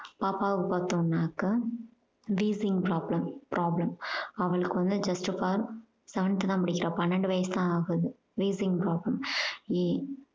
பாப்பாவுக்கு பாத்தோம்னாக்கா wheezing problem problem அவளுக்கு வந்து just of all seventh தான் படிக்கிறா பன்னண்டு வயசு தான் ஆகுது wheezing problem